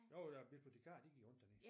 Jo der bibliotekarer de gik rundt dernede